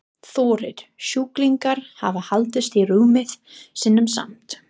Þórir: Sjúklingar hafa haldist í rúmum sínum samt?